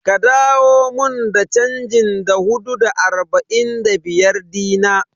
Ka dawo mun da chanjin Da hudu da arba'in da biyar dina?